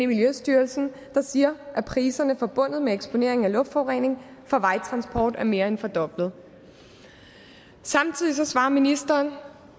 miljøstyrelsen der siger at priserne forbundet med eksponering af luftforurening fra vejtransport er mere end fordoblet samtidig svarer ministeren